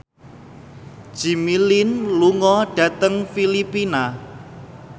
Jimmy Lin lunga dhateng Filipina